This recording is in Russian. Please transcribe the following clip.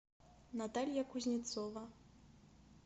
наталья кузнецова